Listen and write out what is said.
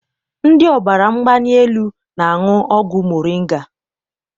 Ndị ọbara mgbali elu na-aṅụ ọgwụ moringa.